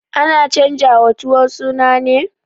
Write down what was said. Ana canjawa tuwo suna ne?